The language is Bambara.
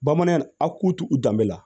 Bamanan aw k'u to u danbe la